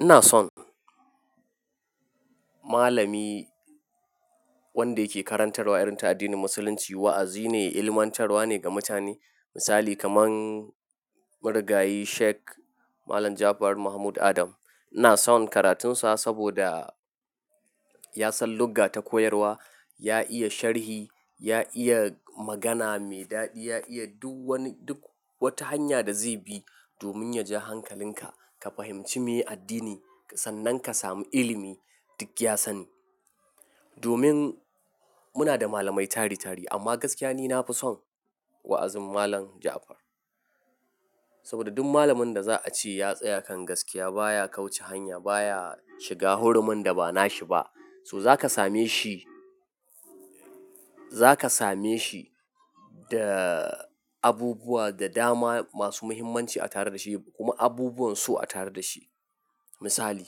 Ina son malami wanda yake karantarwa irin ta addinin musulunci, wa'azi ne, ilmantarwa ne ga mutane. Misali kaman marigayi sheikh Malam Jafar Mahmud Adam. Ina son karatunsa saboda ya san lugga ta koyarwa, ya iya sharhi, ya iya magana mai daɗi, ya iya duk wani-- duk wata hanya da zai bi domin ya ji hankalin ka. Ka fahimci me addini sannan ka samu ilimi duk ya sani. Domin muna da malamai tari tari amma gaskiya ni na fi son wa'azin malam Jafar. Saboda duk malamin da za a ce ya tsaya kan gaskiya baya kauce hanya baya shiga hurumin da ba na shi ba. So za ka same shi, za ka same shi da abubuwa da dama masu muhimmanci a tare da shi kuma abubuwan so a tare da shi. Misali,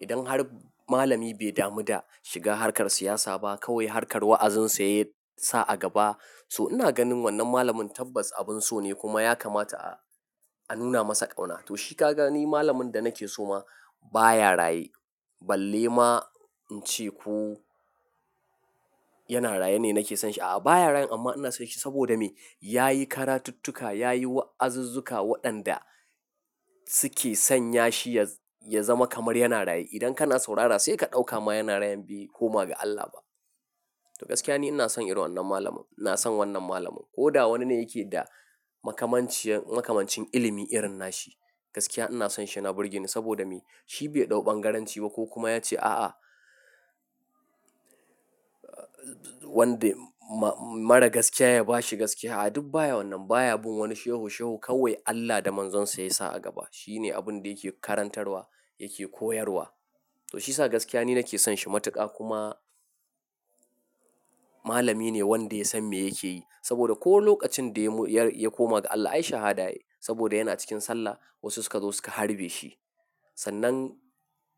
idan har malami bai damu da shiga harkar siyasa ba kawai harkar wa'azinsa ya sa a gaba. So ina ganin wannan malamin tabbas abin so ne kuma ya kamata a, a nuna masa ƙauna. To shi ka gani malamin da nake so ma baya raye. Balle ma in ce ko yana raye ne nake san shi. A'a baya raye amma ina son shi saboda me? Ya yi karatuttuka, ya yi wa'azuzzuka waɗanda suke sanya shi ya, ya zama kamar yana raye. Idan kana saurara sai ka ɗauka ma yana raye ne bai koma ga Allah ba. To gaskiya ni ina son irin wannan malamin. Ina son wannan malamin ko da wanine yake da makamanciyar, makamancin ilimi irin na shi. Gaskiya ina son shi, yana burge ni saboda me? Shi bai ɗau bangaranci ba ko kuma ya ce a'a. Wanda ma mara gaskiya ya bashi gaskiya. A'a duk baya wannan baya bin wani shehu shehu kawai Allah da Manzon sa ya sa a gaba. Shi ne abun da yake karantarwa yake koyarwa. To shi sa gaskiya ni nake son shi matuƙa kuma malami ne wanda ya san me yake yi. Saboda ko lokacin da ya mu-- ya, ya koma ga Allah ai shahada yayi saboda yana cikin sallah wasu suka zo suka harbe shi. Sannan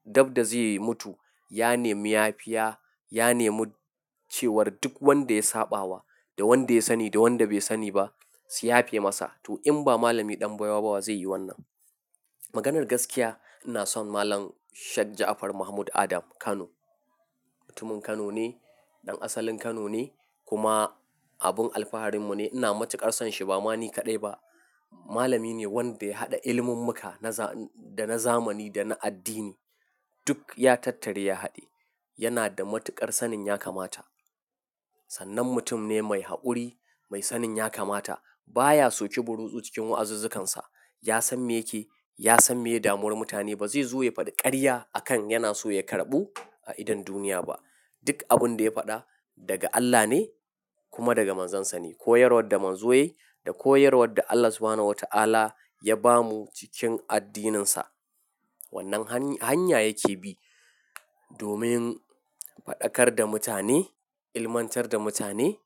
dabda zai mutu ya nemi yafiya, ya nemi cewar duk wanda ya saɓawa da wanda ya sani da wanda bai sani ba su yafe masa. To in ba malami ɗan baiwa ba wa zai yi wannan. Maganar gaskiya ina son malam Sheikh Ja'far Mahmud Adam Kano. Mutumin Kano ne, ɗan asalin Kano ne kuma abin alfaharinmu ne. Ina matuƙar son shi ba ma ni kaɗai ba. Malami ne wanda ya haɗa ilimin muka na za-- da na zamani da na addini. Duk ya tattare ya haɗe. Yana da matuƙar sanin ya kamata. Sannan mutum ne mai haƙuri, mai sanin ya kamata. Baya so kibirutsu cikin wa'azuzzukansa. Ya san me yake, ya san me ya damuwar mutane. Ba zai zo ya faɗi ƙarya a kan yana so ya karɓu a idon duniya ba. Duk abin da ya faɗa daga Allah ne kuma daga Manzon sa ne. Koyarwar da Manzo ya yi da koyarwar da Allah Subhanahu wa ta'ala ya ba mu cikin addininsa. Wannan hany, hanya yake bi domin faɗakar da mutane, ilmantar da mutane.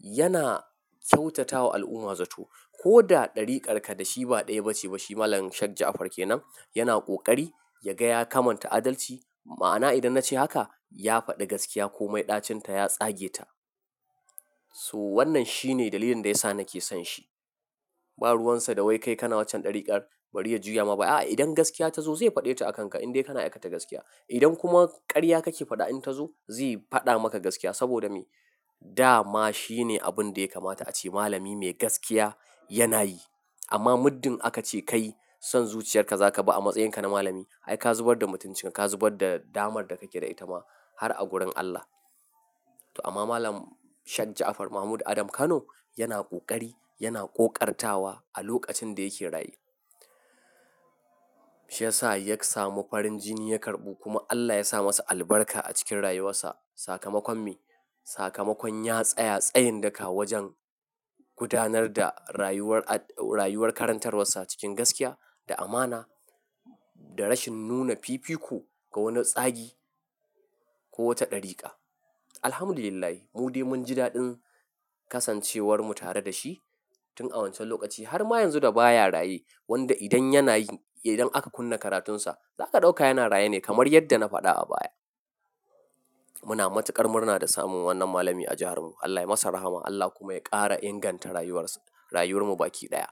Yana kyautatawa al'umma zato. Ko da ɗarikarka da shi ba ɗaya ba ce ba shi malam Sheikh Ja'far ke nan yana ƙoƙari. Ya ga ya kamanta adalci. Ma'ana idan na ce haka ya faɗi gaskiya ko mai ɗacinta ya tsage ta. So wannan shi ne dalilin da ya sa nake son shi. Ba ruwansa da wai kai kana waccan ɗariƙar bari ya juya ma ba. A'a idan gaskiya ta zo zai faɗe ta a kanka in dai kana aikata gaskiya. Idan kuma ƙarya kake faɗa in ta zo zai faɗa maka gaskiya saboda me? Da ma shi ne abun da ya kamata ace malami mai gaskiya yana yi. Amma muddin aka ce kai son zuciyarka za ka bi amma tsayan ka na malami ai ka zubar da mutuncin ka, ka zubar da damar da kake da ita ma har a gurin Allah. To amma malam Sheikh Ja'far Mahmud Adam Kano yana ƙoƙari, yana ƙoƙartawa a lokacin da yake raye. Shi ya sa ya samu farin jini ya karɓu kuma Allah ya sa masa albarka a cikin rayuwarsa. Sakamakon me? Sakamakon ya tsaya tsayin daka wajen gudanar da rayuwar a-- rayuwar karantarwarsa cikin gaskiya da amana da rashin nuna fifiko ga wani tsagi ko wata ɗariƙa. Alhamdulillah mudai mun ji daɗin kasancewarmu tare da shi tun a wancan lokaci har ma yanzu da baya raye. Wanda idan yana yi, idan aka kunna karatunsa za ka ɗauka yana raye ne kamar yadda na faɗa a baya. Muna matuƙar murna da samun wannan malami a jihar mu. Allah ya yi masa rahama Allah kuma ya ƙara inganta rayuwarsa, rayuwar mu baki ɗaya.